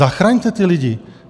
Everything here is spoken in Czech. Zachraňte ty lidi!